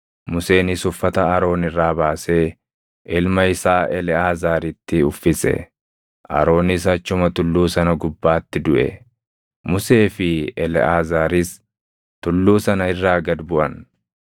Museenis uffata Aroon irraa baasee ilma isaa Eleʼaazaaritti uffise. Aroonis achuma tulluu sana gubbaatti duʼe. Musee fi Eleʼaazaaris tulluu sana irraa gad buʼan;